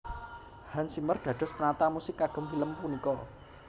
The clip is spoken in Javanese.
Hans Zimmer dados penata musik kagem film punika